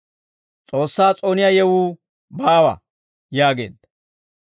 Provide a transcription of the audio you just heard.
S'oossaa s'ooniyaa yewuu baawa» yaageedda.